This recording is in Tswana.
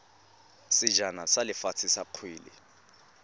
sejana sa lefatshe sa kgwele